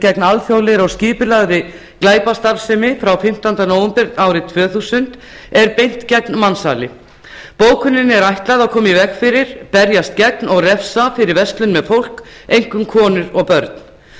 gegn alþjóðlegri og skipulagðri glæpastarfsemi frá fimmtánda nóvember tvö þúsund er beint gegn mansali bókuninni er ætlað að koma í veg fyrir berjast gegn og refsa fyrir verslun með fólk einkum konur og börn bókunin